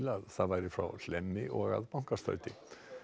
að það væri frá Hlemmi og að Bankastræti